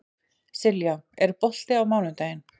Silja, er bolti á mánudaginn?